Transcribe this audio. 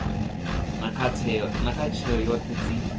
na kha tsheo dzoṱhe dzi